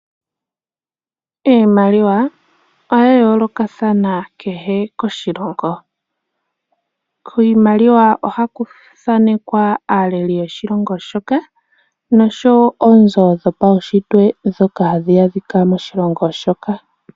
Iimaliwa oya yoolokathana kehe koshilongo. Kiimaliwa ohaku thaanekwa aaleli yoshilongo shoka, noshowo oonzo dhopaunshitwe ndhoka hadhi kala moshilongo moka.